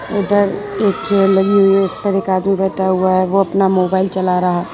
उधर एक चेयर लगी हुई है उसपर एक आदमी बैठा हुआ है वो अपना मोबाइल चला रहा--